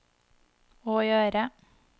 å gjøre